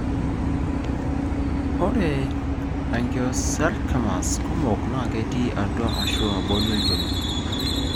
ore angiosarcomas kumok na ketii atua ashu abori olchoni.